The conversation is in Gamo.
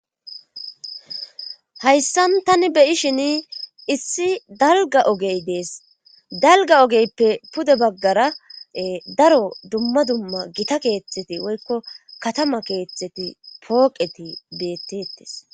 hayssan tani beyishin issi dalga ogey dees dalga ogeyppe pude baggara daro dumma dumma gita keeththeti woykko katama keeththeti pooqeti beettetes